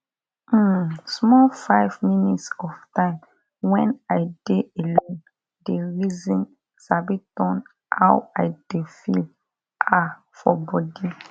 hmmn smoll 5 mins of time wen i de alone de reson sabi turn how i de feel ah for bodi